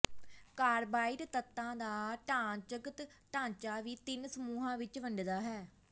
carbide ਤੱਤਾਂ ਦਾ ਢਾਂਚਾਗਤ ਢਾਂਚਾ ਵੀ ਤਿੰਨ ਸਮੂਹਾਂ ਵਿਚ ਵੰਡਦਾ ਹੈ